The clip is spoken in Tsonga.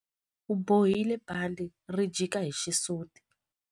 U bohile bandhi ri jika hi xisuti.